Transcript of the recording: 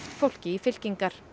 fólki í fylkingar